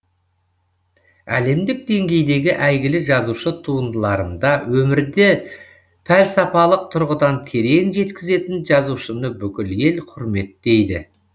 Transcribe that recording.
әлемдік деңгейдегі әйгілі жазушы туындыларында өмірді пәлсапалық тұрғыдан терең жеткізетін жазушыны бүкіл ел құрметтейді